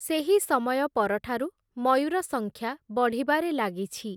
ସେହି ସମୟ ପରଠାରୁ, ମୟୂର ସଂଖ୍ୟା ବଢ଼ିବାରେ ଲାଗିଛି ।